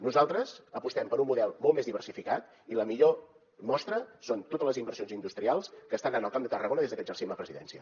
nosaltres apostem per un model molt més diversificat i la millor mostra són totes les inversions industrials que estan en el camp de tarragona des que exercim la presidència